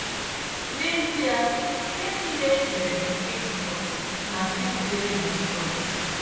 N'ezie, ihe niile ekere bụ nke Jizọs na nke sitere na Jizọs